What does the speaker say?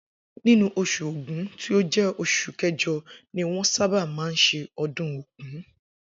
Inú os̩ù Ògún tí ó jé̩ os̩ù ké̩jo̩ ni wó̩n sábà máa ń s̩e o̩dún ògún